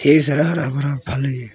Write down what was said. ढेर सारा हरा भरा फल है।